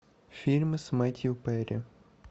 фильмы с мэттью перри